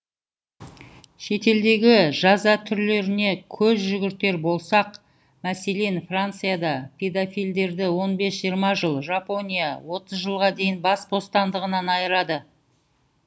шетелдегі жаза түрлеріне көз жүгіртер болсақ мәселен францияда педофилдерді он бес жиырма жыл жапония отыз жылға дейін бас бостандығынан айырады